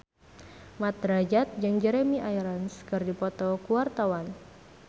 Mat Drajat jeung Jeremy Irons keur dipoto ku wartawan